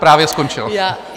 Právě skončil.